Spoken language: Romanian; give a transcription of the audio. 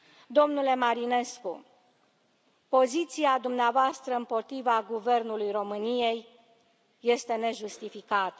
Domnule Marinescu, poziția dumneavoastră împotriva Guvernului României este nejustificată.